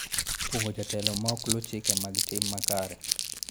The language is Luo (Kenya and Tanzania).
Kuong�o jotelo ma ok lu chike mag tim makare.